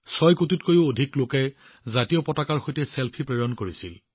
৬ কোটিতকৈও অধিক লোকে ত্ৰিৰংগাৰ সৈতে চেলফি প্ৰেৰণ কৰিছিল